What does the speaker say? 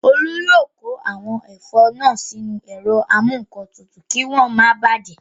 Olú yóò kó àwọn ẹ̀fọ́ náà sínú ẹ̀rọ amúǹkantutù kí wọ́n máa bàjẹ́